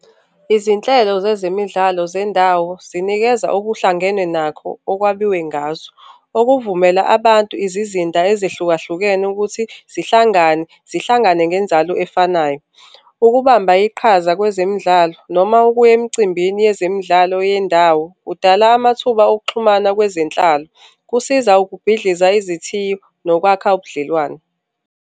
Izinhlelo zezemidlalo zendawo zinikeza okuhlangene nakho okwabiwe ngazo, okuvumela abantu izizinda ezehlukahlukene ukuthi zihlangane, zihlangane ngenzalo efanayo. Ukubamba iqhaza kwezemidlalo noma ukuya emcimbini yezemidlalo yendawo kudala amathuba okuxhumana kwezenhlalo, kusiza ukubhidliza izithiyo nokwakha ubudlelwane.